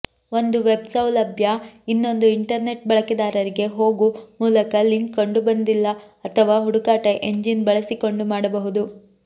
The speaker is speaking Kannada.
ಒಂದು ವೆಬ್ ಸೌಲಭ್ಯ ಇನ್ನೊಂದು ಇಂಟರ್ನೆಟ್ ಬಳಕೆದಾರರಿಗೆ ಹೋಗು ಮೂಲಕ ಲಿಂಕ್ ಕಂಡುಬಂದಿಲ್ಲ ಅಥವಾ ಹುಡುಕಾಟ ಎಂಜಿನ್ ಬಳಸಿಕೊಂಡು ಮಾಡಬಹುದು